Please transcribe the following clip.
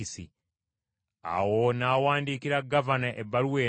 Awo n’awandiikira gavana ebbaluwa eno nti: